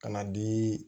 Ka na di